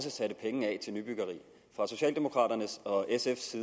satte penge af til nybyggeri fra socialdemokraternes og sfs